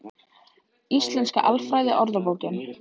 Íslenska alfræðiorðabókin.